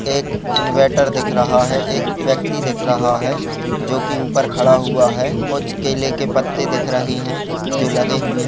एक इनवेटर दिख रहा है एक व्यक्ति दिख रहा है जोकी ऊपर खड़ा हुआ है| कुछ केले के पत्ते दिख रहे हैं जो लगे हुए हैं।